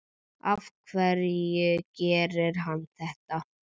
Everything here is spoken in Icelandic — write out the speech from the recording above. Af hverju gerir hann þetta?